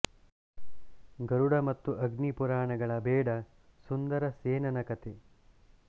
ಗರುಡ ಮತ್ತು ಅಗ್ನಿ ಪುರಾಣ ಗಳ ಬೇಡ ಸುಂದರ ಸೇನನ ಕಥೆ